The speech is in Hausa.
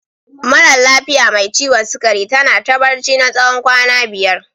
Maran lafiya mai ciwon sugari ta na ta barci na tsawon kwana biyar.